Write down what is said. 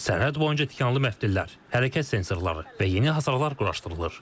Sərhəd boyunca tikanlı məftillər, hərəkət sensorları və yeni hasarlar quraşdırılır.